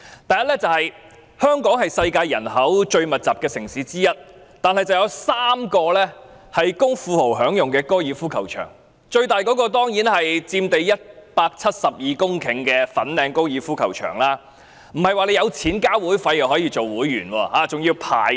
第一，香港是世界人口最密集的城市之一，卻有3個供富豪享用的高爾夫球場，最大的當然是佔地172公頃的粉嶺高爾夫球場，但也不是有錢繳交會費便可成為會員，還要排隊。